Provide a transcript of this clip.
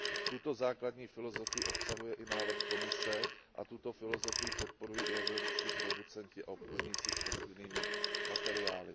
Tuto základní filozofii obsahuje i návrh Komise a tuto filozofii podporují i evropští producenti a obchodníci s rostlinnými materiály.